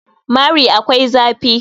mari akwai zafi